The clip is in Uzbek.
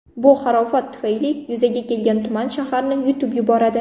Bu harorat tufayli yuzaga kelgan tuman shaharni yutib yuboradi.